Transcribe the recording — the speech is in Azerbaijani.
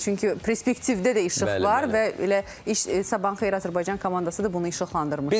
Çünki prespektivdə də işıq var və elə Sabahın xeyir Azərbaycan komandası da bunu işıqlandırmışdı.